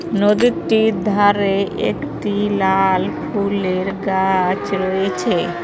নদীর তীর ধারে একটি লাল ফুলের গাছ রয়েছে।